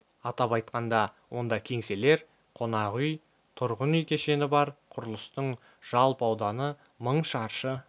атап айтқанда онда кеңселер қонақ үй тұрғын үй кешені бар құрылыстың жалпы ауданы мың шаршы